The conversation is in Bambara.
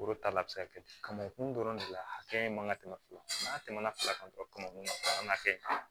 Foro ta la a bɛ se ka kɛ kamankun dɔrɔn de la hakɛ in man ka tɛmɛ n'a tɛmɛna fila kan ka kɛ